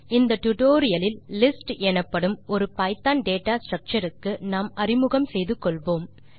இந்த டுடோரியலில் லிஸ்ட்ஸ் எனப்படும் ஒரு பைத்தோன் டேட்டா ஸ்ட்ரக்சர் க்கு நாம் அறிமுகம் செய்து கொள்வோம்